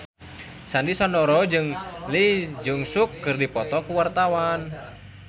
Sandy Sandoro jeung Lee Jeong Suk keur dipoto ku wartawan